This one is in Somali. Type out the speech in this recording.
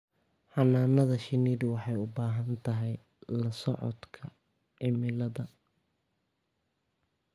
Xannaanada shinnidu waxay u baahan tahay la socodka cimilada.